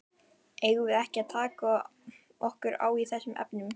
Eigum við ekki að taka okkur á í þessum efnum?